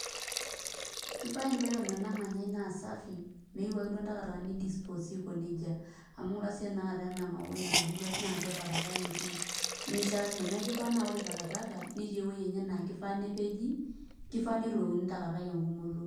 Kifaa environment namanyai naa safi, meyieu ake duo ndakitakani ni disposi aiko nejia. Amu ng'ura siyie tanakata enamauai natubulua tene na atua takataka etii. Nimishaakino. Neku kifaa na ore takataka, netii ewoi enye na kifaa nepeji, kifaa neturokini takataka egumoto.